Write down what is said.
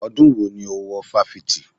Ọdún wo ni o wo wọ Fáṣítì?